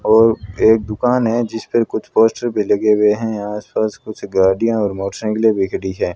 और एक दुकान है जिस पर कुछ पोस्टर भी लगे हुए हैं आसपास कुछ गाड़ियां और मोटरसाइकिलें भी खड़ी हैं।